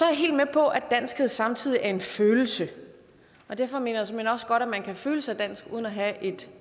jeg helt med på at danskhed samtidig er en følelse og derfor mener jeg såmænd også godt man kan føle sig dansk uden at have et